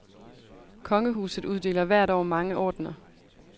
Kongehuset uddeler hvert år mange ordener.